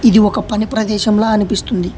ఇది ఒక పని ప్రదేశంల అనిపిస్తుంది.